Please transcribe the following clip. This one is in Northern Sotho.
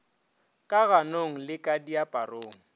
ka ganong le ka diaparong